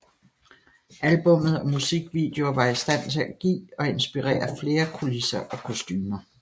Albummet og musikvideoer var i stand til at give og inspirere flere kulisser og kostumer